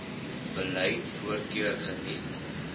beleid voorkeur geniet